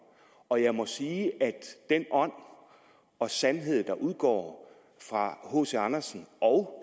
og jeg må sige at den ånd og sandhed der udgår fra hc andersens og